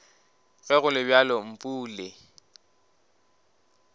ge go le bjalo mpule